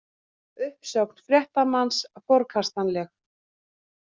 Uppsögn fréttamanns forkastanleg